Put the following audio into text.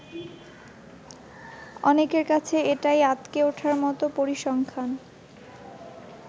অনেকের কাছে এটাই আঁতকে উঠার মতো পরিসংখ্যান।